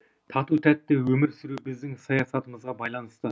тату тәтті өмір сүру біздің саясатымызға байланысты